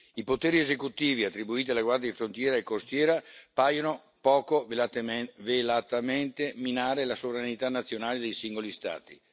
I poteri esecutivi attribuiti alle guardie di frontiera e costiera paiono poco velatamente minare la sovranità nazionale dei singoli Stati.